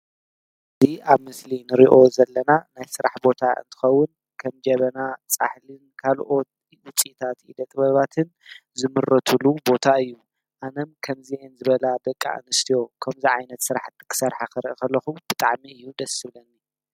እዚ አብ ምስሊ ንሪኦ ዘለና ናይ ስራሕ ቦታ እንትኸውን ከም ጀበና፣ ፃሕልን ካልኦት ውፅኢታት ኢደ ጥበባትን ዝምረትሉ ቦታ እዩ። አንም ከምዚአን ዝበላ ደቂ አንስትዮ ከምዚ ዓይነት ስራሕ ክሰርሓ ክርኢ ከለኩ ብጣዕሚ እዩ ደስ ዝብለኒ።